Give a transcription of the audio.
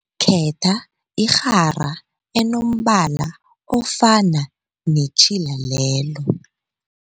Khetha irhara enombala ofana netjhila lelo.